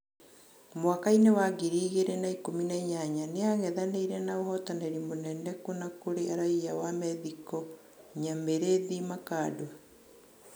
Mwakainĩ wa ngiri igĩrĩ na ikũmi na inyanya, nĩang'ethanĩire na ũhotanĩri mũnene Kuna kurĩ raia wa Methĩko Nyamĩrĩthi Makando.